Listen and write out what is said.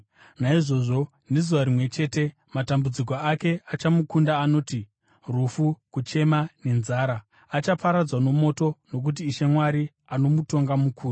Naizvozvo, nezuva rimwe chete matambudziko ake achamukunda anoti: rufu, kuchema, nenzara. Achaparadzwa nomoto, nokuti Ishe Mwari anomutonga mukuru.